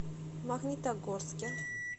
магнитогорске